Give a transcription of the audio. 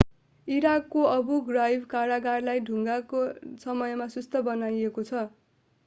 इराकको Abu Ghraib कारागारलाई दंगाको समयमा सुस्त बनाइएको छ